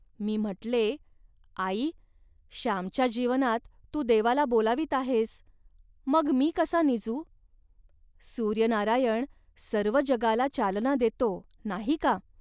.मी म्हटले, "आई, श्यामच्या जीवनात तू देवाला बोलावीत आहेस, मग मी कसा निजू. सूर्यनारायण सर्व जगाला चालना देतो, नाही का